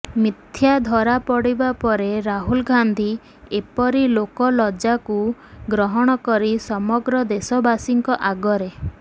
ମିଥ୍ୟା ଧରା ପଡିବା ପରେ ରାହୁଲ ଗାନ୍ଧୀ ଏପରି ଲୋକ ଲଜ୍ଜାକୁ ଗ୍ରହଣ କରି ସମଗ୍ର ଦେଶବାସୀଙ୍କ ଆଗରେ